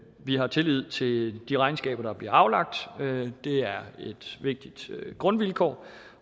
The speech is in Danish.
vi har tillid til de regnskaber der bliver aflagt det er et vigtigt grundvilkår